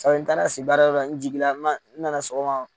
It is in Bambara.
n taara si baara yɔrɔ la n jigila n man n nana sɔgɔma.